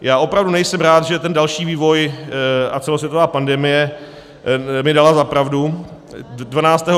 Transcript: Já opravdu nejsem rád, že ten další vývoj a celosvětová pandemie mi dala za pravdu.